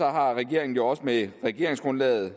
har regeringen jo også med regeringsgrundlaget